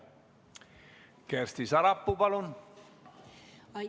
Kersti Sarapuu, palun!